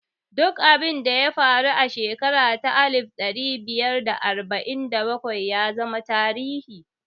Duk abinda ya faru a shekara ta alif ɗari biyar da arba'in da bakwai ya zama tarihi